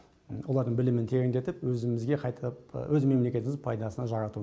олардың білімін тереңдетіп өзімізге қайтып өз мемлекетіміздің пайдасына жарату